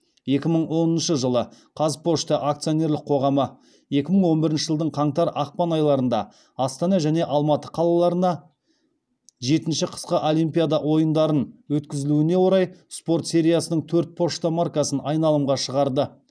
екі мың оныншы жылы қазпошта акционерлік қоғамы екі мың он бірінші жылдың қаңтар ақпан айларында астана және алматы қалаларына жетінші қысқы олимпиада ойындарын өткізілуіне орай спорт сериясының төрт пошта маркасын айналымға шығарды